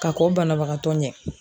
Ka kɔn banabagatɔ ɲɛ.